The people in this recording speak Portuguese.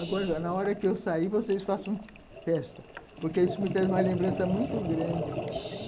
Agora, na hora que eu sair, vocês façam festa, porque isso me traz uma lembrança muito grande.